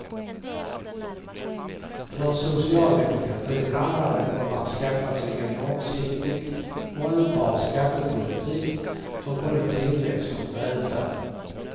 För socialdemokratin handlar det om att skaffa sig en långsiktigt hållbar skattepolitik för både tillväxt och välfärd.